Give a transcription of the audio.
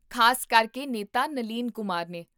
ਖ਼ਾਸ ਕਰਕੇ ਨੇਤਾ ਨਲੀਨ ਕੁਮਾਰ ਨੇ